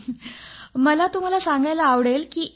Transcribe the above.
sir मला तुम्हाला सांगायला आवडेल की